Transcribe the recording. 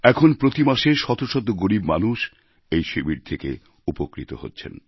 এখন প্রতি মাসে শত শত গরীব মানুষ এই শিবির থেকে উপকৃত হচ্ছেন